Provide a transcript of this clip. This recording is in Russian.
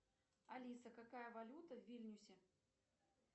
алиса какая валюта в вильнюсе